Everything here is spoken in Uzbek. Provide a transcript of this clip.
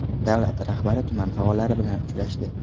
Davlar rahbari tuman faollari bilan uchrashdi .